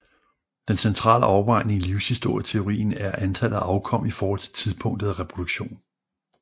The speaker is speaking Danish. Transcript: Den centrale afvejning i livshistorieteorien er antallet af afkom i forhold til tidspunktet af reproduktion